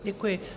Děkuji.